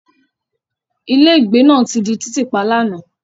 Ilégbèé náà di títì pa lánàá.